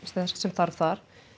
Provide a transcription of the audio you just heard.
sem þarf þar